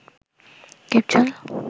Dipjol